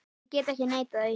Ég get ekki neitað því.